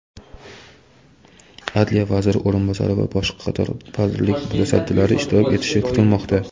Adliya vaziri o‘rinbosari va boshqa qator vazirlik mutasaddilari ishtirok etishi kutilmoqda.